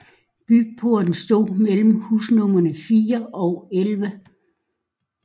Byporten stod mellem husnumrene 4 og 11